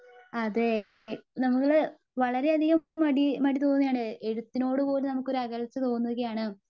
അതേ ഈ നമ്മള് വളരെയധികം മടി മടിതോന്നുവാണ് ഏ എഴുതിനോടെ പോലും അകൽച്ച തോന്നുകയാണ് .